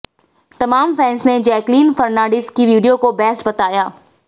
तमाम फैंस ने Jacqueline Fernandez की वीडियो को बेस्ट बताया